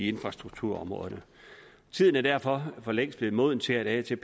infrastrukturområdet tiden er derfor for længst blevet moden til at